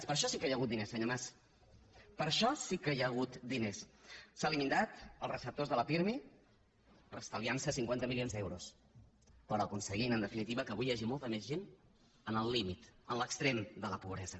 per a això sí que hi ha hagut diners senyor mas per a això sí que hi ha hagut diners s’han limitat els receptors de la pirmi per estal viarnos cinquanta milions d’euros però aconseguint en definitiva que avui hi hagi molta més gent en el límit en l’extrem de la pobresa